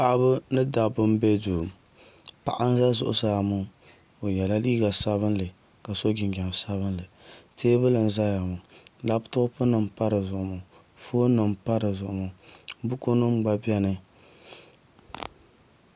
Paɣaba ni dabba n bɛ duu paɣa n bɛ zuɣusaa ŋo o yɛla liiga sabinli ka so jinjɛm sabinli teebuli n ʒɛya ŋo labtop nim n pa di zuɣu maa foon nim n pa di zuɣu maa buku nim gba bɛni